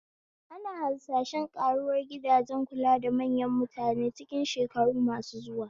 Ana harsashen ƙaruwar gidajen kula da manyan mutane cikin shekaru masu zuwa.